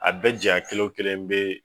A bɛɛ jaɲa kelen wo kelen be